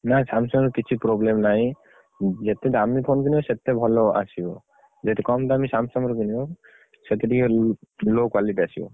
ନା Samsung ର କିଛି problem ନାହିଁ। ଯେତେ ଦାମି phone କିଣିବ, ସେତେ ଭଲ ଆସିବ। ଯଦି କମ୍ ଦାମ୍ Samsung ର କିଣିବ, ସେଠି ଟିକେ ଲୋ, low quality ଆସିବ।